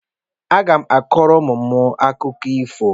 Agá m akọrọ ụmụ m akụkọ ifo